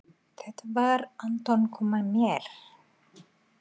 Júlía: Þetta var- Anton kom með mér.